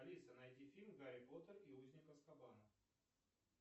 алиса найди фильм гарри поттер и узник азкабана